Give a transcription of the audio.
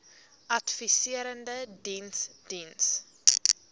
adviserende diens diens